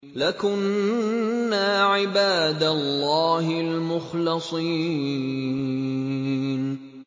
لَكُنَّا عِبَادَ اللَّهِ الْمُخْلَصِينَ